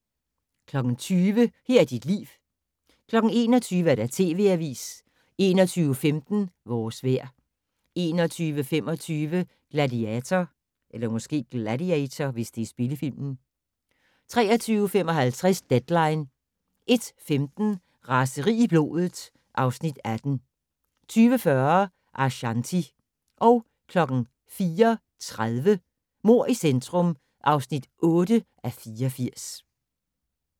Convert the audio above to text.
20:00: Her er dit liv 21:00: TV Avisen 21:15: Vores vejr 21:25: Gladiator 23:55: Deadline 01:15: Raseri i blodet (Afs. 18) 02:40: Ashanti 04:30: Mord i centrum (8:84)